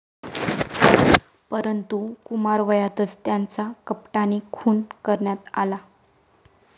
परंतु कुमारवयातच त्याचा कपटाने खून करण्यात आला.